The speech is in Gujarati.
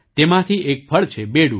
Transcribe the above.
તેમાંથી એક ફળ છે બેડુ